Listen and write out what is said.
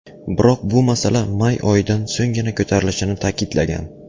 Biroq bu masala may oyidan so‘nggina ko‘tarilishini ta’kidlagan.